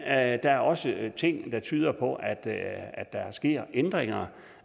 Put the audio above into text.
er også ting der tyder på at at der sker ændringer